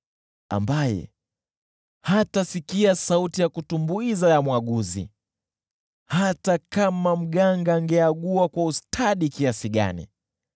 ambaye hatasikia sauti ya kutumbuiza ya mwaguzi, hata kama mganga angecheza kwa ustadi kiasi gani.